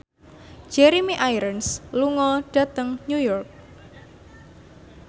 Jeremy Irons lunga dhateng New York